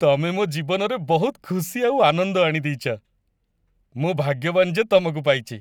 ତମେ ମୋ ଜୀବନରେ ବହୁତ ଖୁସି ଆଉ ଆନନ୍ଦ ଆଣିଦେଇଚ । ମୁଁ ଭାଗ୍ୟବାନ ଯେ ତମକୁ ପାଇଚି ।